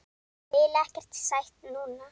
Vil ekkert sætt núna.